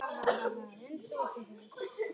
Allt tekur þetta sinn tíma.